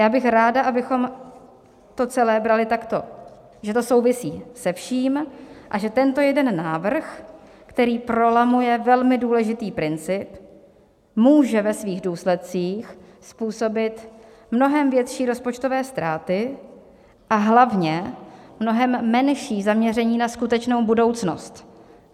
Já bych ráda, abychom to celé brali takto, že to souvisí se vším a že tento jeden návrh, který prolamuje velmi důležitý princip, může ve svých důsledcích způsobit mnohem větší rozpočtové ztráty a hlavně mnohem menší zaměření na skutečnou budoucnost.